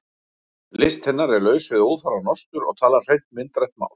List hennar er laus við óþarfa nostur og talar hreint myndrænt mál.